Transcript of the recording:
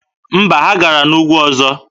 Mba, ha gara n'ugwu ọzọ.